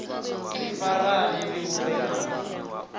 ri farane ri vhumbe ṅanda